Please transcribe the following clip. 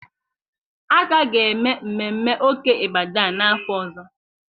A ka ga-eme mmemme Oke Ibadan n'afọ ọzọ